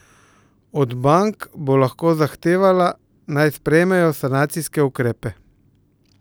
Od bank bo lahko zahtevala, naj sprejmejo sanacijske ukrepe.